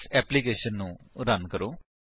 ਇਸ ਏਪਲਿਕੇਸ਼ਨ ਨੂੰ ਰਨ ਕਰੋ